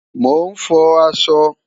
Mo n fò àṣọ